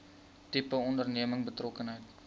tipe onderneming betrokkenheid